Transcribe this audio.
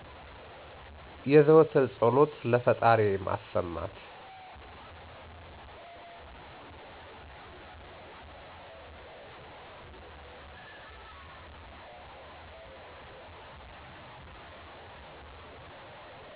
የዘወትር ፀሎቴን ለፈጣሪዬ ማሰማት